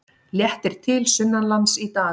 Léttir til sunnanlands í dag